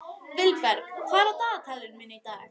Vilberg, hvað er á dagatalinu mínu í dag?